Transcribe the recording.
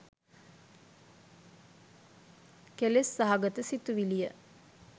කෙලෙස් සහගත සිතිවිලි ය.